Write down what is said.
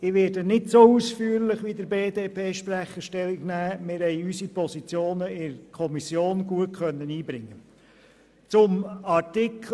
Ich werde mich nicht so ausführlich dazu äussern wie der Sprecher der BDP, da wir unsere Position bereits in der Kommission gut einbringen konnten.